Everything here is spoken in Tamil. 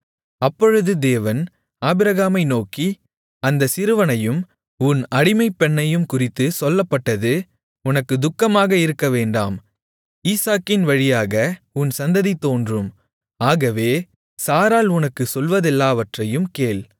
அப்பொழுது தேவன் ஆபிரகாமை நோக்கி அந்தச் சிறுவனையும் உன் அடிமைப்பெண்ணையும் குறித்துச் சொல்லப்பட்டது உனக்குத் துக்கமாக இருக்கவேண்டாம் ஈசாக்கின் வழியாக உன் சந்ததி தோன்றும் ஆகவே சாராள் உனக்குச் சொல்வதெல்லாவற்றையும் கேள்